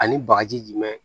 Ani bagaji jumɛn